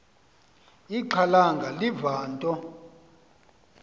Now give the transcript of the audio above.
ixhalanga liva into